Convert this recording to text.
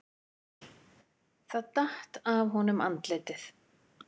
Það datt af honum andlitið.